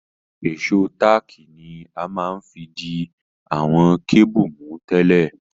Ìsó tààkì ni a ma n fi di àwon cable mú tẹ́lẹ̀